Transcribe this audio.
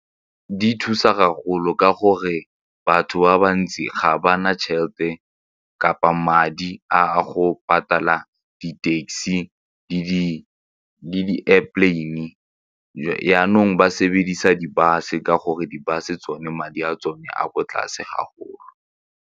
Di thusa haholo ka gore batho ba bantsi ga ba na tšhelete kapa madi a go patala di-taxi le di-airplane jaanong ba sebedisa di-bus-e ka gore di-bus-e tsone madi a tsone a ko tlase haholo.